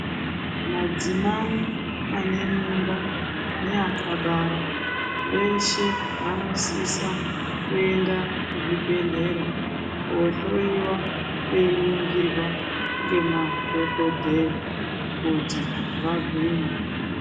Madzimai ane mimba neakabara veshe vanosisa kuenda kuzvibhedhlera kohloiwa veiningirwa nemadhokodheya koti vagwinye.